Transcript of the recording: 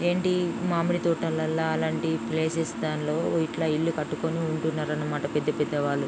ఏంటి మామిడి తోటలల అలంటి ప్లేసెస్ దాన్లో ఇట్లా ఇల్లు కట్టుకొని ఉంటున్నారు అన్నమాట పెద్ద పెద్ద వాళ్ళు.